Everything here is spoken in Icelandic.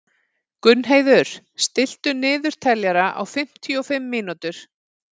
Gunnheiður, stilltu niðurteljara á fimmtíu og fimm mínútur.